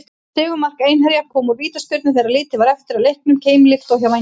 Sigurmark Einherja kom úr vítaspyrnu þegar lítið var eftir af leiknum, keimlíkt og hjá Vængjum.